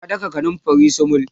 ta daka kanumfarin sumul